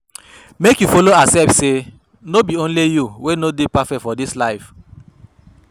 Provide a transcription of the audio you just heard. Mek yu follow accept say no be only yu wey no dey perfect for dis life